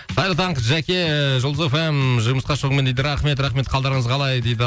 қайырлы таң жәке жұлдыз эф эм жұмысқа шығуыңмен дейді рахмет рахмет қалдарыңыз қалай дейді